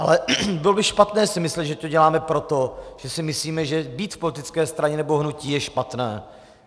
Ale bylo by špatné si myslet, že to děláme proto, že si myslíme, že být v politické straně nebo hnutí je špatné.